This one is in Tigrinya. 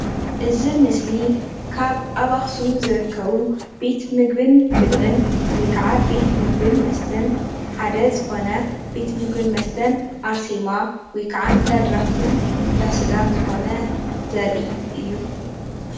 እዚ ኣብ ምስሊ ካብ ኣብ ኣክሱም ካብ ዝርከቡ ቤት ምግብን ብልዕን ወይ ከዓ ቤት ምግብን መስተን ሓደ ዝኮነ ቤት ምግብን መስተን ኣርሴማ ወይ ከዓ እንዳድራፍትን እንዳስጋን ዝኮነ ዘርኢ እዩ፡፡